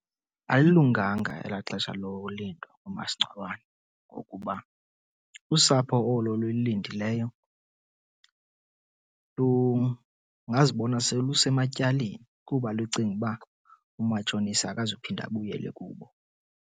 Alilunganga elaa xesha lolindwa umasingcwabane ngokuba usapho olo luyilindileyo lungazibona selusematyaleni kuba lucinga uba umatshonisa akazuphinda abuyele kubo.